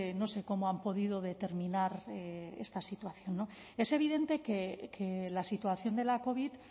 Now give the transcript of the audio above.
no sé cómo han podido determinar esta situación es evidente que la situación de la covid